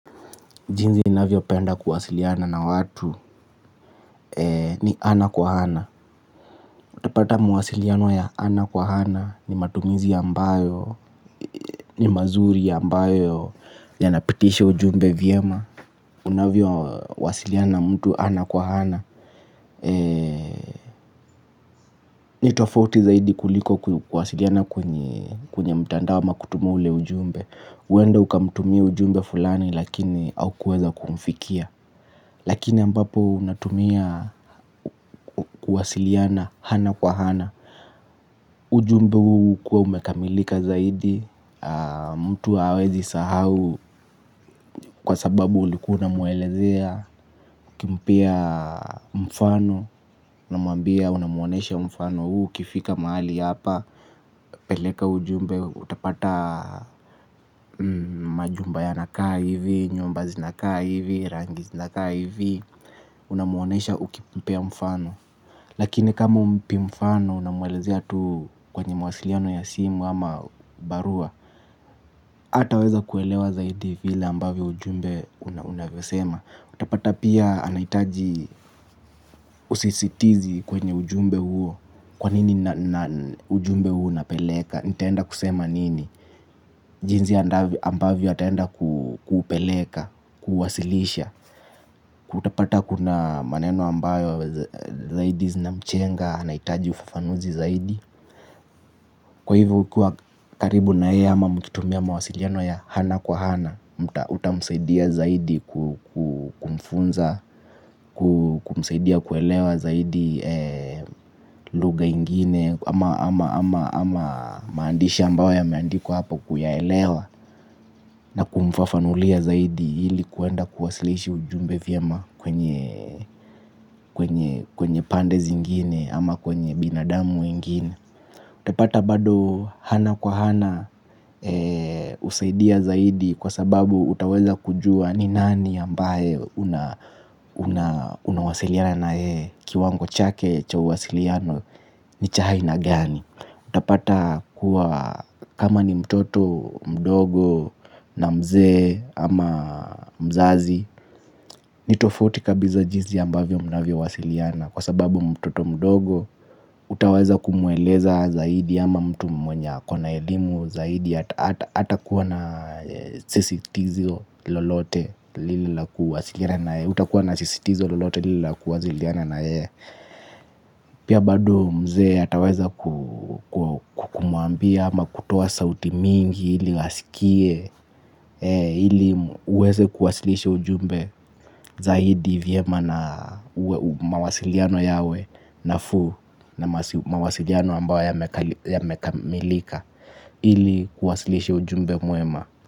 Jinsi ninavyopenda kuwasiliana na watu ni ana kwa ana. Utapata mawasiliano ya ana kwa ana ni matumizi ambayo ni mazuri ambayo yanapitisha ujumbe vyema. Unavyowasiliana na mtu ana kwa ana. Ni tofauti zaidi kuliko kuwasiliana kwenye mtandao ama kutuma ule ujumbe, huenda ukamtumia ujumbe fulani lakini haukuweza kumfikia. Lakini ambapo unatumia kuwasiliana ana kwa ana. Ujumbe huu hukuwa umekamilika zaidi. Mtu hawezi sahau kwa sababu ulikuwa unamwelezea, ukimpea mfano unamwambia unamwonyesha mfano huu ukifika mahali hapa. Peleka ujumbe utapata majumba yanakaa hivi, nyumba zinakaa hivi, rangi zinakaa hivi. Unamwonyesha ukimpea mfano. Lakini kama humpi mfano unamwelezea tu kwenye mawasiliano ya simu ama barua. Hataweza kuelewa zaidi vile ambavyo ujumbe unavyosema. Utapata pia anahitaji usisitizi kwenye ujumbe huo. Kwani na ujumbe huo napeleka? Nitaenda kusema nini? Jinsi ambavyo ataenda kuupeleka, kuuwasilisha. Utapata kuna maneno ambayo zaidi zinamchenga anahitaji ufafanuzi zaidi. Kwa hivyo ukiwa karibu na yeye ama mkitumia mawasiliano ya ana kwa ana utamsaidia zaidi kumfunza, kumsaidia kuelewa zaidi lugha ingine. Ama maandishi ambao yameandikwa hapo kuyaelewa. Na kumfafanulia zaidi ili kuenda kuwasilisha ujumbe vyema kwenye pande zingine ama kwenye binadamu mwingine. Utapata bado ana kwa ana husaidia zaidi kwa sababu utaweza kujua ni nani ambaye unawasiliana na yeye kiwango chake cha uwasiliano. Ni cha aina gani. Utapata kuwa kama ni mtoto mdogo na mzee ama mzazi. Ni tofauti kabisa jinsi ambavyo mnavyowasiliana kwa sababu mtoto mdogo utaweza kumweleza zaidi ama mtu mwenye ako na elimu zaidi. Hatakuwa na sisitizo lolote lile la kuwasiliana na yeye. Pia bado mzee ataweza kumwambia ama kutoa sauti mingi ili asikie ili uweze kuwasilisha ujumbe zaidi vyema na mawasiliano yawe nafuu na mawasiliano ambao yamekamilika ili kuwasilisha ujumbe mwema.